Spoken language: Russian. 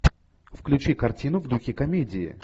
включи картину в духе комедии